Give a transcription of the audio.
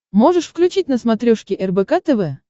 можешь включить на смотрешке рбк тв